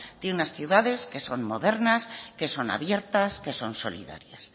de unas ciudades que son modernas que son abiertas que son solidarias